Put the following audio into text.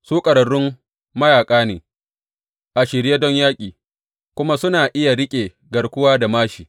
Su ƙwararrun mayaƙa ne, a shirye don yaƙi, kuma suna iya riƙe garkuwa da māshi.